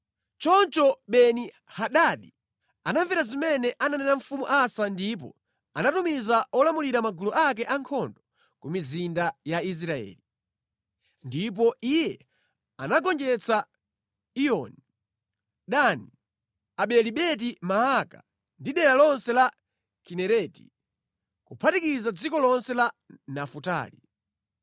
Choncho Beni-Hadadi anamvera zimene ananena mfumu Asa ndipo anatumiza olamulira magulu ake ankhondo ku mizinda ya Israeli. Ndipo iye anagonjetsa Iyoni, Dani, Abeli-Beti-Maaka ndi dera lonse la Kinereti kuphatikiza dziko lonse la Nafutali.